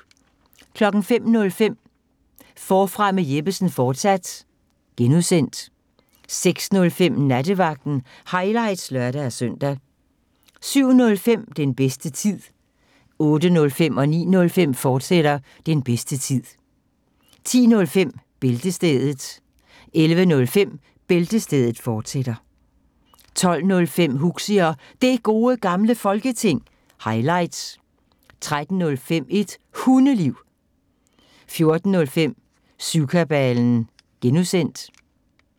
05:05: Forfra med Jeppesen fortsat (G) 06:05: Nattevagten – highlights (lør-søn) 07:05: Den bedste tid 08:05: Den bedste tid, fortsat 09:05: Den bedste tid, fortsat 10:05: Bæltestedet 11:05: Bæltestedet, fortsat 12:05: Huxi og Det Gode Gamle Folketing – highlights 13:05: Et Hundeliv 14:05: Syvkabalen (G)